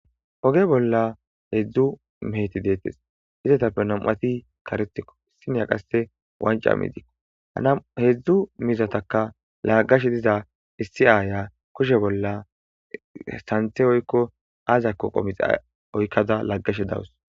Oge bolla hedzdzu meheti deettes. Izetappe nam'ati kareththiko, issinoya qasse wancca miizikko. Ha hedzdzu miizatakka laaggashe diza issi aaya kushe bolla sanththe woykko azakko qomixe oykkada laaggashe de'awus.